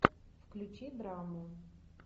включи драму